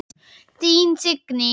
Þín Signý.